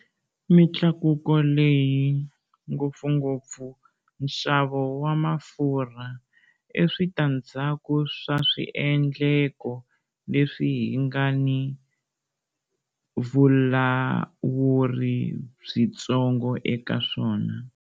Mitlakuko leyi, ngopfungopfu nxavo wa mafurha, i switandzhaku swa swiendleko leswi hi nga ni vulawuri byitsongo eka swona.